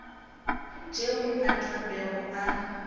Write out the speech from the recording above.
tšeo a tla bego a